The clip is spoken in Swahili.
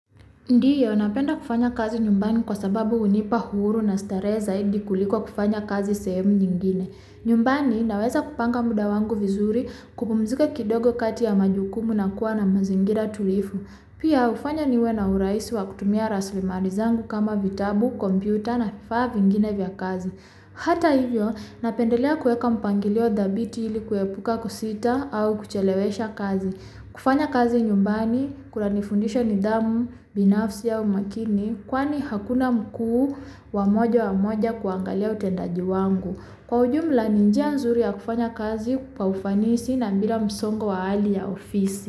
Ndiyo napenda kufanya kazi nyumbani kwa sababu hunipa uhuru na starehe zaidi kuliko kufanya kazi sehemu nyingine. Nyumbani naweza kupanga muda wangu vizuri, kupumzuka kidogo kati ya majukumu na kuwa na mazingira tulivu. Pia hufanya niwe na urahisi wa kutumia rasilimali zangu kama vitabu, kompyuta na vifaa vingine vya kazi. Hata hivyo, napendelea kuweka mpangilio thabiti ili kuepuka kusita au kuchelewesha kazi. Kufanya kazi nyumbani, kunanifundisha nidhamu, binafsi au umakini, kwani hakuna mkuu wa moja wa moja wa kuangalia utendaji wangu. Kwa ujumla ni njia nzuri ya kufanya kazi, kwa ufanisi na bila msongo wa hali ya ofisi.